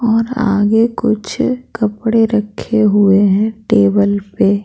और आगे कुछ कपड़े रखे हुए हैं टेबल पे--